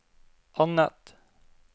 annet